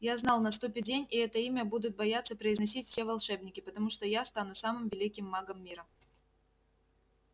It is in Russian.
я знал наступит день и это имя будут бояться произносить все волшебники потому что я стану самым великим магом мира